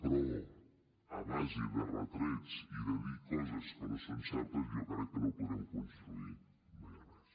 però a base de retrets i de dir coses que no són certes jo crec que no podrem construir mai res